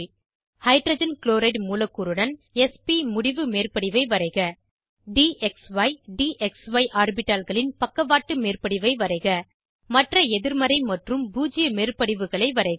hydrogen chloride மூலக்கூறுடன் s p முடிவு மேற்படிவை வரைக dxy டிஎக்ஸ்இ ஆர்பிட்டால்களின் பக்கவாட்டு மேற்படிவை வரைக மற்ற எதிர்மறை மற்றும் பூஜ்ஜிய மேற்படிவுகளை வரைக